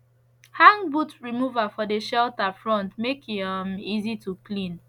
hang boot remover for de shelter front make e um easy to clean